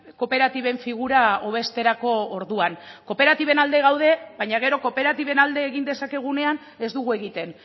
kooperatiben figura hobesterako orduan kooperatiben alde gaude baina gero kooperatiben alde egin dezakegunean ez dugu egiten